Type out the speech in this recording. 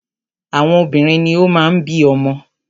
Àwọn obìnrin ni o máa ń bí ọmọ.